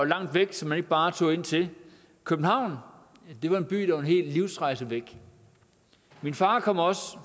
langt væk som man ikke bare tog ind til københavn var en by en hel livsrejse væk min far kom også